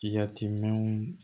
Yatimɛnw